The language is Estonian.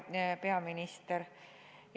Hea peaminister!